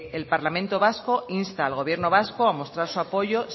el parlamento vasco insta al gobierno vasco a mostrar su apoyo